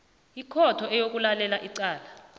ikhotho eyokulalela icala